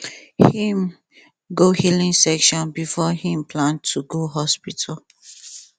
him go healing session before him plan to go hospital